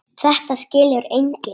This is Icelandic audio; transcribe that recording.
Þetta skilur enginn.